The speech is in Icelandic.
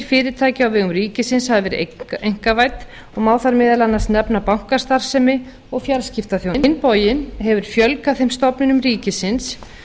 fyrirtækja á vegum ríkisins hafa verið einkavædd og má þar meðal annars nefna bankastarfsemi og fjarskiptaþjónustu á hinn bóginn hefur fjölgað þeim stofnunum ríkisins